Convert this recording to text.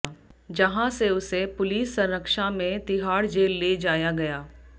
जहां से उसे पुलिस संरक्षा में तिहाड़ जेल ले जाया गया